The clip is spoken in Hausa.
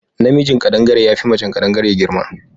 Na mijin kaɗangare yafi macen kadangare girma